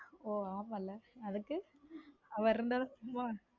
ஓஹ ஆமல அதுக்கு அவர் இருந்தா தான் சும்மா